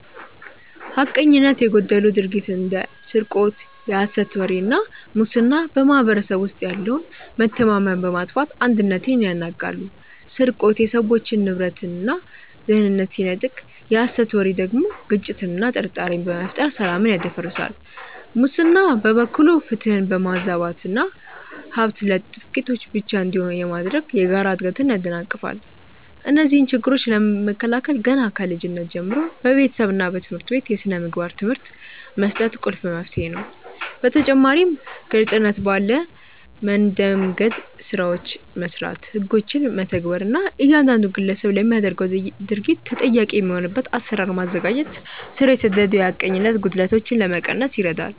ሐቀኝነት የጎደለው ድርጊት እንደ ስርቆት፣ የሐሰት ወሬ እና ሙስና በማኅበረሰቡ ውስጥ ያለውን መተማመን በማጥፋት አንድነትን ያናጋሉ። ስርቆት የሰዎችን ንብረትና ደህንነት ሲነጥቅ፣ የሐሰት ወሬ ደግሞ ግጭትንና ጥርጣሬን በመፍጠር ሰላምን ያደፈርሳል። ሙስና በበኩሉ ፍትህን በማዛባትና ሀብት ለጥቂቶች ብቻ እንዲሆን በማድረግ የጋራ እድገትን ያደናቅፋል። እነዚህን ችግሮች ለመከላከል ገና ከልጅነት ጀምሮ በቤተሰብና በትምህርት ቤት የሥነ ምግባር ትምህርት መስጠት ቁልፍ መፍትሄ ነው። በተጨማሪም ግልጽነት ባለ መንደምገድ ስራዎችን መስራት፣ ህጎችን መተግበር እና እያንዳንዱ ግለሰብ ለሚያደርገው ድርጊት ተጠያቂ የሚሆንበትን አሰራር ማዘጋጀት ስር የሰደዱ የሐቀኝነት ጉድለቶችን ለመቀነስ ይረዳል።